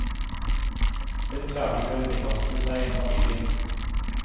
Hun klarte ikke å underkaste seg familien.